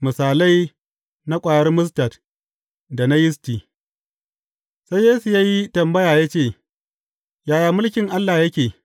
Misalai na ƙwayar mustad da na yisti Sai Yesu ya yi tambaya ya ce, Yaya mulkin Allah yake?